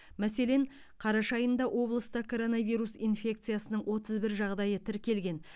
мәселен қараша айында облыста коронавирус инфекциясының отыз бір жағдайы тіркелген